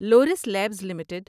lovers Labs limited